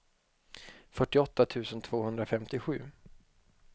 fyrtioåtta tusen tvåhundrafemtiosju